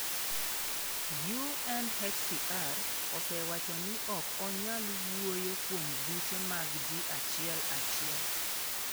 UNHCR osewacho ni ok onyal wuoyo kuom buche mag ji achiel achiel.”